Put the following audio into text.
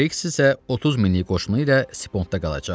Kriqs isə 30 minlik qoşunu ilə Sipondda qalacaq.